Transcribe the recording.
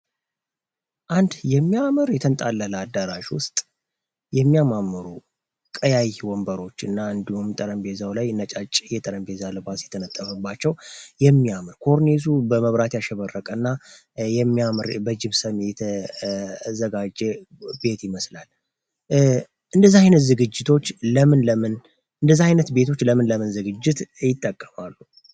አንድ የሚያምር የተንጣለለ አዳራሽ ውስጥ የሚያማምሩ ቀያይ ወንበሮች እና እንዲሁም ጠረጴዛው ላይ ነጫጭ የጠረጴዛ አልባስ የተነጠፈባቸው ፤ የሚያምን ኮርኒሱ በመብራት ያሸበረቀና የሚያምር በጂብሰምና የተዘጋጀ ቤት ይመስላል። እንደዚህ አይነት ዝግጅቶች ለምን ለምን እንደዚህ አይነት ቤቶች ለምን ለምን ዝግጅት ይጠቀማሉ?